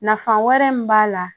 Nafa wɛrɛ min b'a la